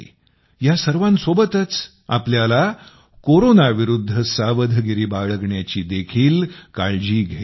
या सर्वांसोबतच आपल्याला कोरोनाविरुध्द सावधगिरी बाळगण्याची देखील काळजी घ्यायची आहे